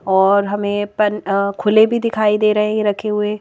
और हमें पन खुले भी दिखाई दे रहे हैं ये रखे हुए.